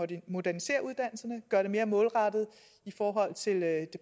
den moderniserer uddannelserne gør dem mere målrettede i forhold til det